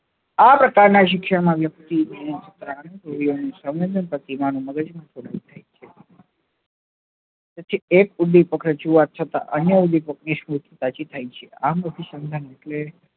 આ પ્રકાર નાં શિક્ષણ માં વ્યક્તિ પ્રતિમા નું મગજ માં જોડાણ થાય છે પછી છેક સુધી પ્રખર જોવા છતાં અન્ય સુધી પ્રતિશોધ થાય છે આ પ્રતીસંધાન એટલે